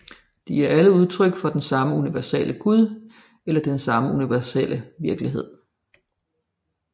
De er alle udtryk for den samme universelle Gud eller den samme universelle virkelighed